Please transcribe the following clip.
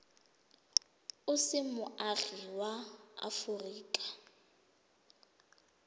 o se moagi wa aforika